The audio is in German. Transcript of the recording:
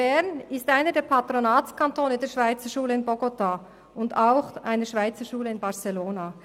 Bern ist einer der Patronatskantone der Schweizerschule in Bogotá und auch einer Schweizerschule in Barcelona.